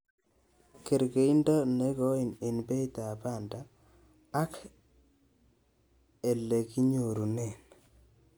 Kergeindo nengoi en beitab banda ak elekinyorunen.